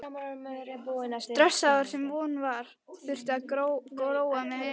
stressaður, sem von var, þurfti að róa mig niður.